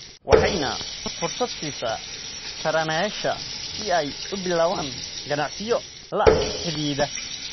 waxayna fursad siisaa taranayaasha si ay u bilaabaan ganacsiyo la xidhiidha.